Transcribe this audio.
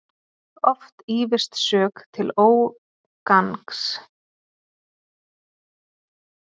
Oft ýfist sök til ógangs.